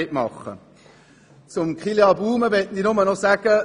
Zu Kilian Baumann möchte ich folgendes sagen: